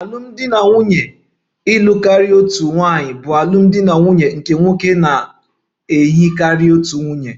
Alụmdi na nwunye ịlụ karịa otu nwaanyị bụ alụmdi na nwunye nke nwoke na ihe karịrị otu nwunye